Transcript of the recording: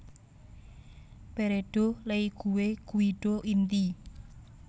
Peredo Leigue Guido Inti